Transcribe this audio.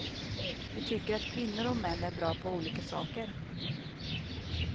Du tycker att kvinnor och män är bra på olika saker.